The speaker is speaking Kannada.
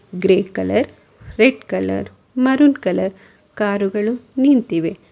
Grey colour red colour maroon colour car ಗಳು ನಿಂತಿವೆ.